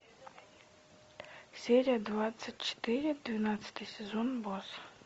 серия двадцать четыре двенадцатый сезон босс